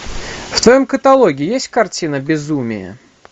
в твоем каталоге есть картина безумие